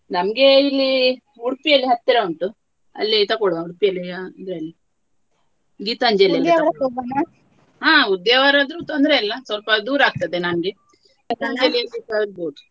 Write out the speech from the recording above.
ನನ್ಗೆ ಇಲ್ಲಿ ಉಡುಪಿಯಲ್ಲಿ ಹತ್ತರ ಉಂಟು ಅಲ್ಲೇ ತಗೋಳ್ವ ಗೀತಾಂಜಲಿಯಲ್ಲಿ ಹಾ ಉದ್ಯಾವರ ತೊಂದ್ರೆಯಿಲ್ಲ ಸ್ವಲ್ಪ ದೂರ ಆಗ್ತದೆ ನನ್ಗೆ.